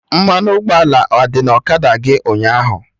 Mmanụ ụgbọala adị na ọkada gị ụnyaahụ?.